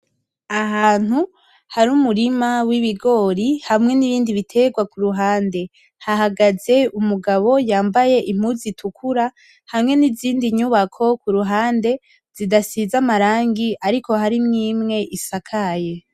Ahantu hari umurima w'ibigori hamwe n'ibindi biterwa kuruhande, hahagaze umugabo yambaye impuzu itukura hamwe n'izindi nyubako kuruhande zidasize amarange ariko harimo imwe isakaye.